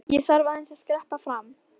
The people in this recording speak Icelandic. Ég þarf aðeins að skreppa fram.